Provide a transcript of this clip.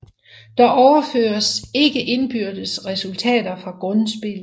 Der overføres ikke indbyrdes resultater fra grundspillet